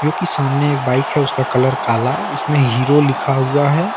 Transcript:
जो की सामने एक बाइक है उसका कलर काला है उसमें हीरो लिखा हुआ है।